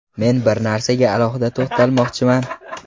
Men bir narsaga alohida to‘xtalmoqchiman.